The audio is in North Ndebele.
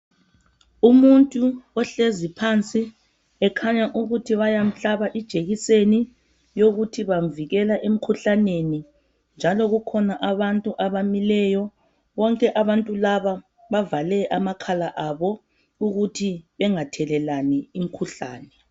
umuntu ohlezi pansi ekhanya ukuthi bayamhlala ijekiseni yokuthi bamvikela emkhuhlaneni njalo kukhona abantu abamileyo bonke abantu laba bavale amakhala abo ukuthi bengathelelani imikhuhlane